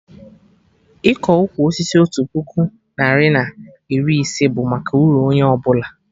Ịkọ ụkwụ osisi otu puku narị na iri ise bụ maka uru onye ọbụla